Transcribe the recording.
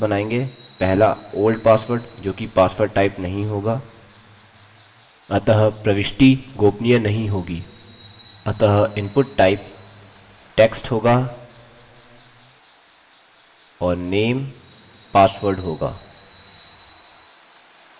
आगे हम कुछ इनपुट बॉक्सेस बनायेंगे पहला old password: जो कि पासवर्ड टाइप नहीं होगा अतः प्रविष्टि गोपनीय नहीं होगी अतः इनपुट टाइप text होगा और name password होगा